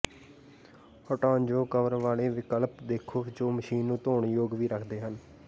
ਹਟਾਉਣਯੋਗ cover ਵਾਲੇ ਵਿਕਲਪ ਦੇਖੋ ਜੋ ਮਸ਼ੀਨ ਨੂੰ ਧੋਣ ਯੋਗ ਵੀ ਰੱਖਦੇ ਹਨ